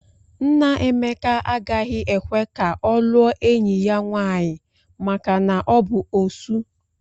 Nna Emeka agaghị ekwe ka ọ lụọ enyi ya nwaanyị maka na ọ bụ Osu.